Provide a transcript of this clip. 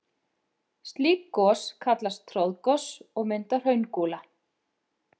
Slík gos kallast troðgos og mynda hraungúla.